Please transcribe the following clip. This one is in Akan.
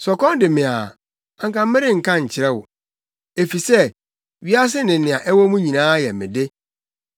Sɛ ɔkɔm dee me a, anka merenka nkyerɛ mo; efisɛ, wiase ne nea ɛwɔ mu nyinaa yɛ me de.